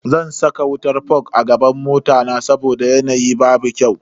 Zan saka wutan fog a gaban mota na saboda yanayi babu kyau.